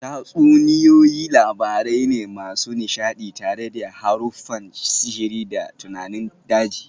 Tatsuniyoyi labarai ne masu nishadi tare da haruffan sihiri da tunanin daji